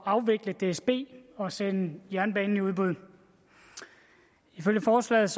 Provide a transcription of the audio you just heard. at afvikle dsb og sende jernbanen i udbud ifølge forslaget